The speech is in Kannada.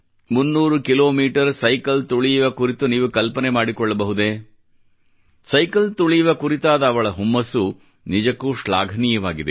300 ಕಿಲೋಮೀಟರ್ ಸೈಕಲ್ ತುಳಿಯುವ ಕುರಿತು ನೀವು ಕಲ್ಪನೆ ಮಾಡಿಕೊಳ್ಳಬಹುದೇ ಸೈಕಲ್ ತುಳಿಯುವ ಕುರಿತಾದ ಅವಳ ಹುಮ್ಮಸ್ಸು ನಿಜಕ್ಕೂ ಶ್ಲಾಘನೀಯವಾಗಿದೆ